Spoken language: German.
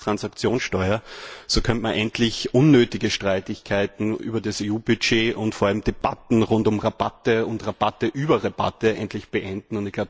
die Finanztransaktionssteuer zu ersetzen. So könnte man endlich unnötige Streitigkeiten über das EU Budget und vor allem Debatten rund um Rabatte und Rabatte über Rabatte endlich beenden.